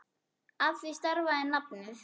Af því stafar nafnið.